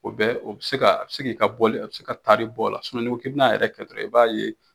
O bɛ o bɛ se ka, a bɛ se k'i ka boli, a bɛ e ka taari bɔ ola, n'i ko i b'a yɛrɛ kɛ dɔrɔn i b'a ye